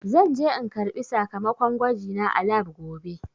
Zan je in karɓi sakamakon gwajina a lab gobe.